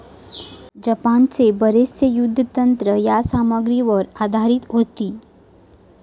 जपानचे बरेचसे युद्धतंत्र या सामग्रीवर आधारित होती.